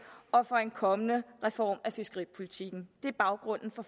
og for en kommende reform af fiskeripolitikken det er baggrunden for